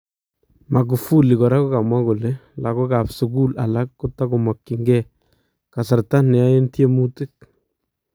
Magufuli koraa kokamwaa kole lakookab sukuul alak kotakomakyingee kasarta neyaen tyemuutik